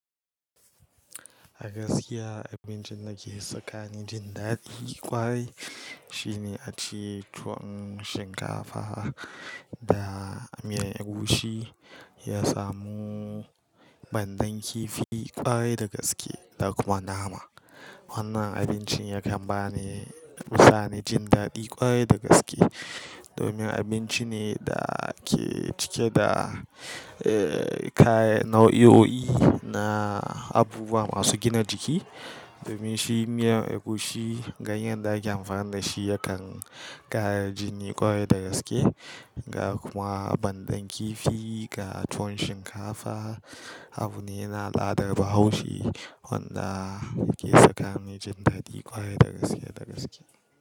A gaskiya abincin da ke saka ni jin daɗi ƙwarai shine ace tuwon shinkafa da miyar egusi. Ya samu bandan kifi ƙwarai da gaske da kuma nama. Wannan abincin yakan bani usani jin daɗi ƙwarai da gaske domin abinci ne da ke cike da, eh, kayan nau'o'i na abubuwa masu gina jiki. Domin shi miyar egusi ganyen da ake amfani da shi yakan ƙara jini ƙwarai da gaske. Kuma bandan kifi ga tuwon shinkafa abu ne yana al'adar bahaushe wanda ke saka ni jin daɗi ƙwarai da gaskiya da gaske.